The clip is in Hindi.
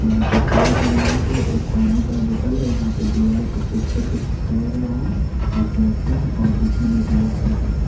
यहाँ पे चाय का ग्लास है एक पानी का बॉटल है यहाँ पे दीवाल पे पोस्टर को चिपकाया गया है जोकि अच्छा है और दिखने में भी अच्छा लग रहा है।